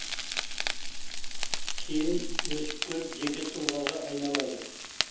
кейін өсіп көріп жеке тұлғаға айналады